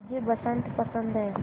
मुझे बसंत पसंद है